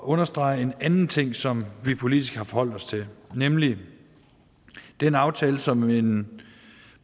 understrege en anden ting som vi politisk har forholdt os til nemlig den aftale som en